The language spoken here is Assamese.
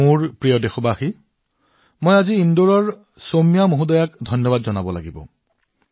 মোৰ মৰমৰ দেশবাসীসকল মই আজি ইন্দোৰৰ বাসিন্দা বালীসৌম্যাক ধন্যবাদ জনাব লাগিব